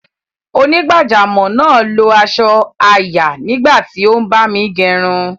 Onígbàjámọ̀ náà lo asọ àyà nígbà tí o ń bámi gerun